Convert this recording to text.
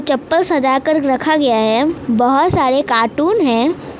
चप्पल सजाकर रखा गया है बहुत सारे कार्टून हैं।